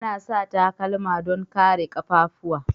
Ana sa takalma don kare kaffafuwa.